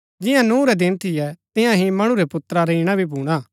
जिंआ नूह रै दिन थियै तियां ही मणु रै पुत्रा रा ईणा भी भूणा